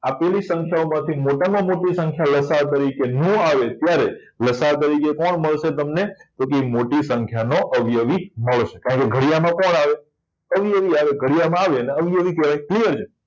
આપેલી સંખ્યાઓ માંથી મોટામાં મોટી સંખ્યા લ. સા. અ ન આવે ત્યારે લ. સા. અ તરીકે કોણ મળશે તમને કે મોટી સંખ્યા નો અવયવી મળશે કારણ કે ઘડિયામાં કોણ આવે અવયવી આવે ઘડિયાળમાં આવે અવયવિ કહેવાય